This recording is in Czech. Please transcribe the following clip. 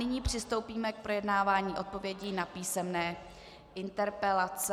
Nyní přistoupíme k projednávání odpovědí na písemné interpelace.